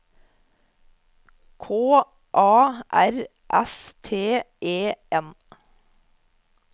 K A R S T E N